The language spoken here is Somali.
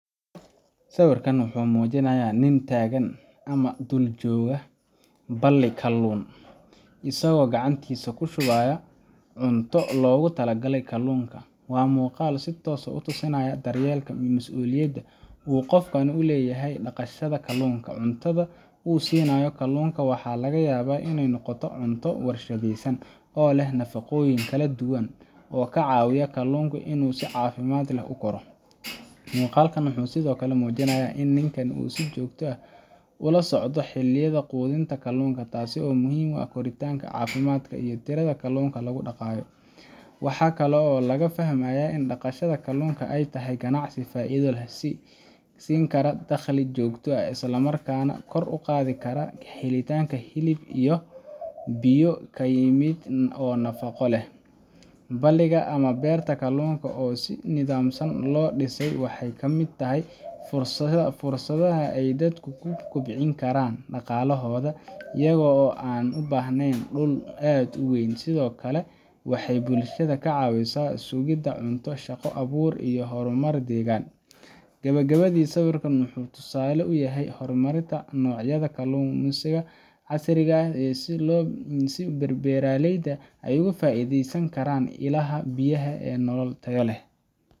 Sawirkan wuxuu muujinayaa nin taagan ama dul jooga balli kalluun, isagoo gacantiisa ku shubaya cunto loogu talagalay kalluunka. Waa muuqaal si toos ah u tusaya daryeelka iyo masuuliyadda uu qofkani ka leeyahay dhaqashada kalluunka. Cuntada uu siinayo kalluunka waxaa laga yaabaa inay noqoto cunto warshadaysan oo leh nafaqooyin kala duwan oo ka caawiya kalluunku inuu si caafimaad leh u koro. Muuqaalkan wuxuu sidoo kale muujinayaa in ninkan uu si joogto ah ula socdo xilliyada quudinta kalluunka, taasoo muhiim u ah koritaanka, caafimaadka, iyo tirada kalluunka lagu dhaqayo. Waxa kale oo laga fahmayaa in dhaqashada kalluunka ay tahay ganacsi faa'iido leh oo siin kara dakhli joogto ah, isla markaana kor u qaadi kara helitaanka hilib biyo ka yimid oo nafaqo leh. Balliga ama beerta kalluunka oo si nidaamsan loo dhisay waxay ka mid tahay fursadaha ay dadku ku kobcin karaan dhaqaalahooda iyaga oo aan u baahnayn dhul aad u weyn. Sidoo kale, waxay bulshada ka caawisaa sugidda cunto, shaqo abuur, iyo horumar deegaanka ah. Gabagabadii, sawirkan wuxuu tusaale u yahay horumarinta noocyada kaluumaysiga casriga ah iyo sida beeraleyda ay uga faa’iideysan karaan ilaha biyaha si ay nolol tayo leh